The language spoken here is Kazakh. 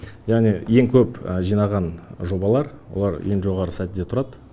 яғни ең көп жинаған жобалар олар ең жоғарғы сатиде тұрады